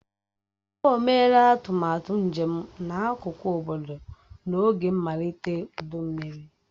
O meela atụmatụ njem n'akụkụ obodo n'oge mmalite ụdụ mmiri.